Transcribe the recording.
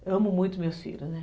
Eu amo muito meus filhos, né?